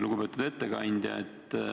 Lugupeetud ettekandja!